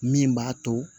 Min b'a to